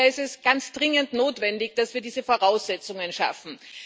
Daher ist es ganz dringend notwendig, dass wir diese Voraussetzungen schaffen.